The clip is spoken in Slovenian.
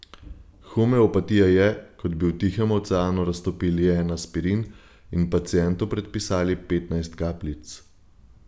Homeopatija je, kot bi v Tihem oceanu raztopili en aspirin in pacientu predpisali petnajst kapljic.